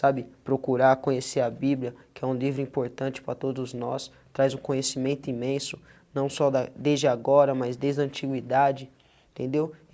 sabe procurar, conhecer a Bíblia, que é um livro importante para todos nós, traz um conhecimento imenso, não só da desde agora, mas desde a antiguidade, entendeu? E